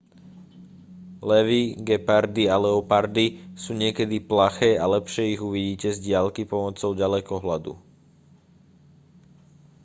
levy gepardy a leopardy sú niekedy plaché a lepšie ich uvidíte z diaľky pomocou ďalekohľadu